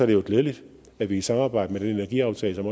det jo glædeligt at vi i samarbejde og med den energiaftale som